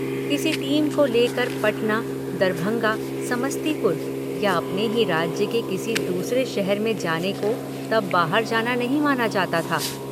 किसी टीम को ले कर पटना, दरभंगा, समस्तीपुर या अपने ही राज्य के किसी दूसरे शहर में जाने को तब बाहर जाना नहीं माना जाता था।